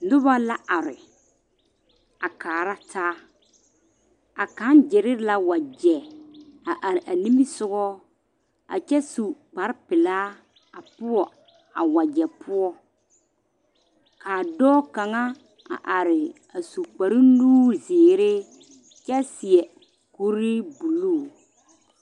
Noba la are a kaara taa a kaŋ gyere la wagye a are a nimisoga a kyɛ su kpar pelaa a poɔ a wagye poɔ kaa dɔɔ kaŋa a are a su kpar nuure zeere kyɛ seɛ kuri buluu